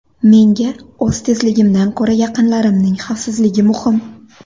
Menga o‘z tezligimdan ko‘ra yaqinlarimning xavfsizligi muhim.